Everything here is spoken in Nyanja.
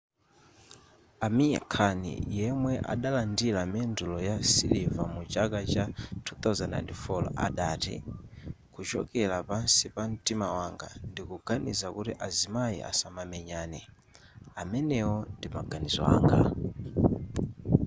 amir khan yemwe adalandira mendulo ya siliva mu chaka cha 2004 adati kuchokera pansi pa mtima wanga ndikuganiza kuti azimayi asamamenyane amenewo ndi maganizo anga